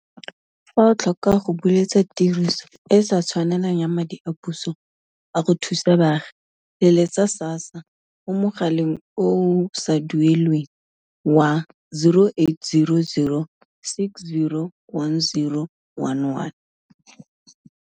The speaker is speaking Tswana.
Fa o tlhoka go buletsa tiriso e e sa tshwanelang ya madi a puso a go thusa baagi, letsetsa SASSA mo mogaleng o o sa duelelweng wa 0800 60 10 11.